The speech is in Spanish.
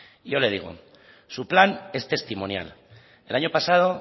y yo le digo su plan es testimonial el año pasado